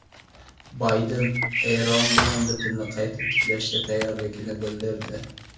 Bayden Eron bilan bitimni qayta tiklashga tayyorligini bildirdi.